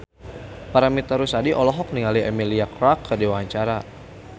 Paramitha Rusady olohok ningali Emilia Clarke keur diwawancara